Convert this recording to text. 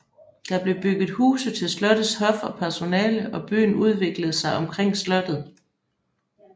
Der blev bygget huse til slottets hof og personale og byen udviklede sig omkring slottet